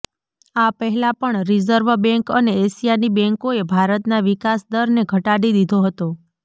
આ પહેલા પણ રિઝર્વ બેંક અને એશિયાની બેંકોએ ભારતના વિકાસ દરને ઘટાડી દીધો હતો